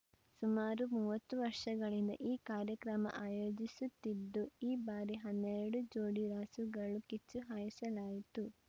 ಸುಮಾರು ಮೂವತ್ತು ವರ್ಷಗಳಿಂದ ಈ ಕಾರ್ಯಕ್ರಮ ಆಯೋಜಿಸುತ್ತಿದ್ದು ಈ ಬಾರಿ ಹನ್ನೆರಡು ಜೋಡಿ ರಾಸುಗಳು ಕಿಚ್ಚು ಹಾಯಿಸಲಾಯಿತು